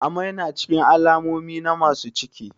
Amai na cikin alamomi na masu ciki